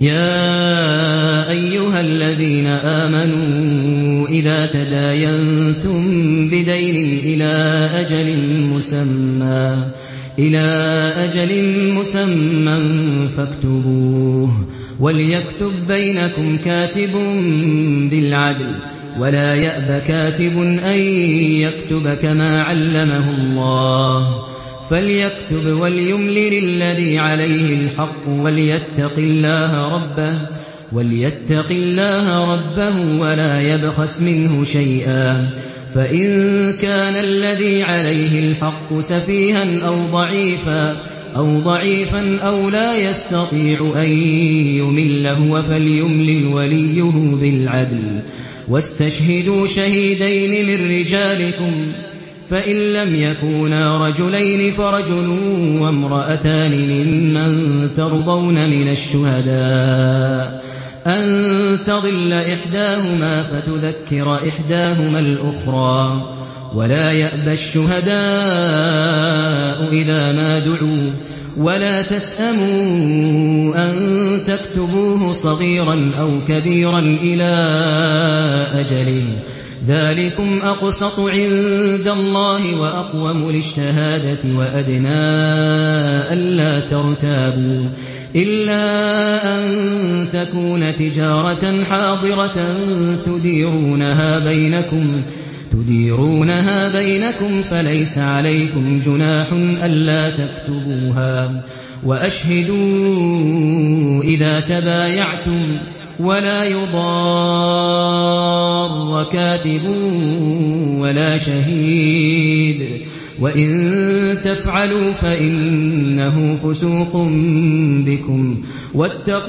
يَا أَيُّهَا الَّذِينَ آمَنُوا إِذَا تَدَايَنتُم بِدَيْنٍ إِلَىٰ أَجَلٍ مُّسَمًّى فَاكْتُبُوهُ ۚ وَلْيَكْتُب بَّيْنَكُمْ كَاتِبٌ بِالْعَدْلِ ۚ وَلَا يَأْبَ كَاتِبٌ أَن يَكْتُبَ كَمَا عَلَّمَهُ اللَّهُ ۚ فَلْيَكْتُبْ وَلْيُمْلِلِ الَّذِي عَلَيْهِ الْحَقُّ وَلْيَتَّقِ اللَّهَ رَبَّهُ وَلَا يَبْخَسْ مِنْهُ شَيْئًا ۚ فَإِن كَانَ الَّذِي عَلَيْهِ الْحَقُّ سَفِيهًا أَوْ ضَعِيفًا أَوْ لَا يَسْتَطِيعُ أَن يُمِلَّ هُوَ فَلْيُمْلِلْ وَلِيُّهُ بِالْعَدْلِ ۚ وَاسْتَشْهِدُوا شَهِيدَيْنِ مِن رِّجَالِكُمْ ۖ فَإِن لَّمْ يَكُونَا رَجُلَيْنِ فَرَجُلٌ وَامْرَأَتَانِ مِمَّن تَرْضَوْنَ مِنَ الشُّهَدَاءِ أَن تَضِلَّ إِحْدَاهُمَا فَتُذَكِّرَ إِحْدَاهُمَا الْأُخْرَىٰ ۚ وَلَا يَأْبَ الشُّهَدَاءُ إِذَا مَا دُعُوا ۚ وَلَا تَسْأَمُوا أَن تَكْتُبُوهُ صَغِيرًا أَوْ كَبِيرًا إِلَىٰ أَجَلِهِ ۚ ذَٰلِكُمْ أَقْسَطُ عِندَ اللَّهِ وَأَقْوَمُ لِلشَّهَادَةِ وَأَدْنَىٰ أَلَّا تَرْتَابُوا ۖ إِلَّا أَن تَكُونَ تِجَارَةً حَاضِرَةً تُدِيرُونَهَا بَيْنَكُمْ فَلَيْسَ عَلَيْكُمْ جُنَاحٌ أَلَّا تَكْتُبُوهَا ۗ وَأَشْهِدُوا إِذَا تَبَايَعْتُمْ ۚ وَلَا يُضَارَّ كَاتِبٌ وَلَا شَهِيدٌ ۚ وَإِن تَفْعَلُوا فَإِنَّهُ فُسُوقٌ بِكُمْ ۗ وَاتَّقُوا اللَّهَ ۖ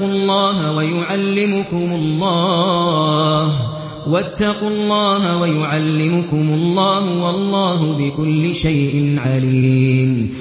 وَيُعَلِّمُكُمُ اللَّهُ ۗ وَاللَّهُ بِكُلِّ شَيْءٍ عَلِيمٌ